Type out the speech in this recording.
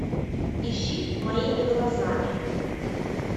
ищи моими глазами